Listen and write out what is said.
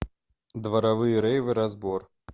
дворовые рейвы разбор